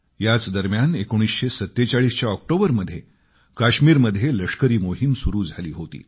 याच दरम्यान 1947 च्या ऑक्टोबरमध्ये काश्मीरमध्ये लष्करी मोहीम सुरु झाली होती